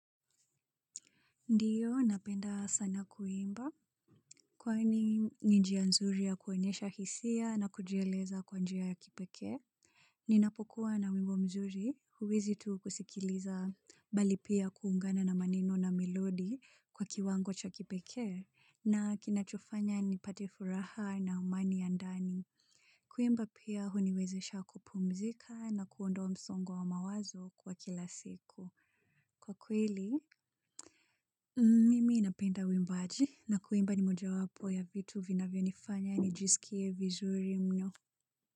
Ndiyo, napenda sana kuimba. Kwani ni njia nzuri ya kuonyesha hisia na kujieleza kwa njia ya kipekee? Ninapokuwa na wimbo mzuri, huwezi tu kusikiliza bali pia kuungana na maneno na milodi kwa kiwango cha kipekee, na kinachofanya nipate furaha na amani ya ndani. Kuimba pia huniwezesha kupumzika na kuondoa msongo wa mawazo kwa kila siku. Kwa kweli, mimi napenda uimbaji. Na kuimba ni mojawapo ya vitu vinavyonifanya nijisikie vizuri mno.